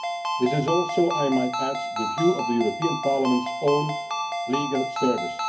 This is also I might add the view of the European Parliament's own Legal Service.